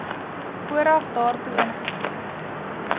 vooraf daartoe ingestem